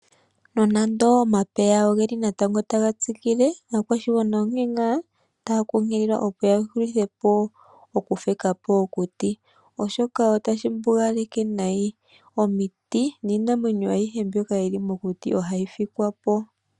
Nonando omapeya ogeli natango taga tsikile, aakwashigwana onge nga taya nkunkililwa opo ya hulithepo oku fikapo okuti, oshoka otashi mbugaleke nayi omiti, niinamwenyo ayihe mbyoka yili mokuti ohayi fikwa po.